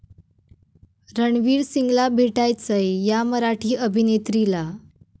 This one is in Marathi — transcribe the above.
रणवीर सिंगला भेटायचंय 'या' मराठी अभिनेत्रीला!